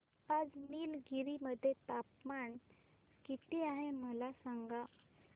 आज निलगिरी मध्ये तापमान किती आहे मला सांगा